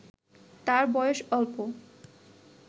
তার বয়স অল্প